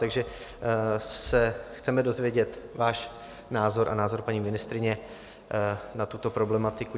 Takže se chceme dozvědět váš názor a názor paní ministryně na tuto problematiku.